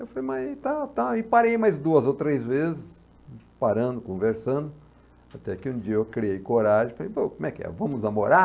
Eu falei, mas e tal, tal, e parei mais duas ou três vezes, parando, conversando, até que um dia eu criei coragem, falei, pô, como é que é, vamos namorar?